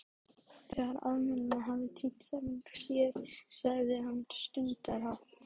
Hann fletti Dagblaðinu meðan hann hlustaði á fréttirnar.